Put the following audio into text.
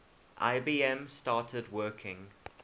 ibm started working